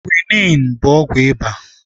Kwiniin bụ ọgwụ ịba